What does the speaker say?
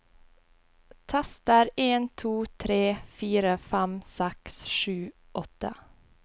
Tester en to tre fire fem seks sju åtte